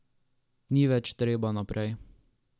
Ni več treba naprej.